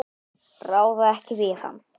Ráða ekki við hann.